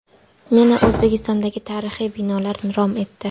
Meni O‘zbekistondagi tarixiy binolar o‘ziga rom etdi.